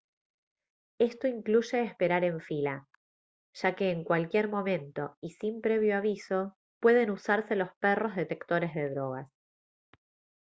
esto incluye esperar en fila ya que en cualquier momento y sin previo aviso pueden usarse los perros detectores de drogas